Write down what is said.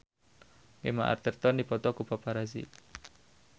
Gemma Arterton dipoto ku paparazi